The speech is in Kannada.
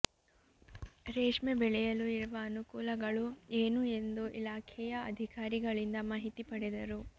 ರೇಷ್ಮೆ ಬೆಳೆಯಲು ಇರುವ ಅನುಕೂಲಗಳು ಏನು ಎಂದು ಇಲಾಖೆಯ ಅಧಿಕಾರಿಗಳಿಂದ ಮಾಹಿತಿ ಪಡೆದರು